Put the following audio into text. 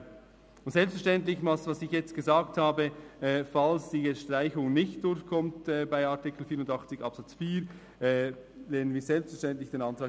Und selbstverständlich ist, gemäss dem, was ich jetzt gesagt habe, dass wir den Antrag der SVP ablehnen, falls die Streichung bei Artikel 84 Absatz 4 nicht durchkommt.